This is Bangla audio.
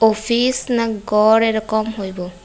অফিস না গড় এরকম হইবো।